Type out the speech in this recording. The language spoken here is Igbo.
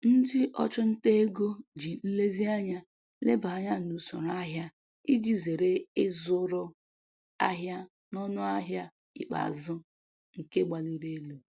Ndị ọchụnta ego ji nlezianya leba anya n'usoro ahịa iji zere ịzụrụ ahịa n'ọnụ ahịa ikpeazụ nke gbaliri elu.